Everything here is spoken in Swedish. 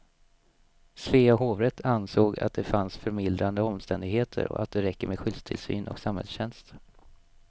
Svea hovrätt ansåg att det fanns förmildrande omständigheter och att det räcker med skyddstillsyn och samhällstjänst.